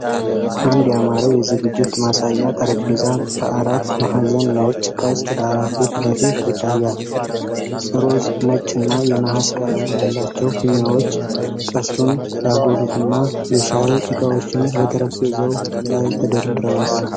አንድ ያማረ የዝግጅት ማሳያ ጠረጴዛ በአራት ማዕዘን ነጭ ቅስት ዳራ ፊት ለፊት ይታያል። ሮዝ፣ ነጭና የነሐስ ቀለም ያላቸው ፊኛዎች ቅስቱን ያጎሉትና የሻይ ዕቃዎች በጠረጴዛው ላይ ተደርድረዋል።